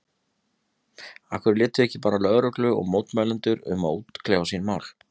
Af hverju létuð þið ekki bara lögreglu og mótmælendur um að útkljá sín mál?